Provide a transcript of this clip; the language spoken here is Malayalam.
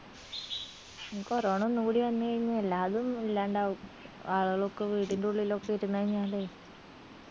ഇനി corona ഒന്ന് കൂടി വന്ന് കയ്‌ന എല്ലാരും ഇല്ലാണ്ടാവും ആളുകളൊക്കെ വീടിന്റുള്ളിൽ ഒക്കെ ഇരുന്ന് കയ്‌നാല്